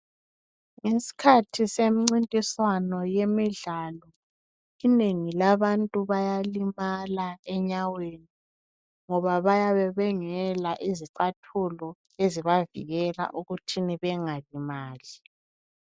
Isikhathi semncintiswano yemidlalo, inengi labantu bayalimala enyaweni ngoba bayabe bengela izicathulo ezibavikela ukuthini bengalimali.